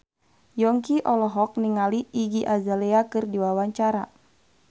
Yongki olohok ningali Iggy Azalea keur diwawancara